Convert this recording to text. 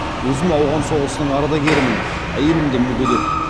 өзім ауған соғысының ардагерімін әйелім де мүгедек